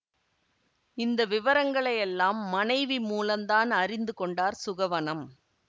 இந்த விவரங்களை எல்லாம் மனைவி மூலந்தான் அறிந்து கொண்டார் சுகவனம்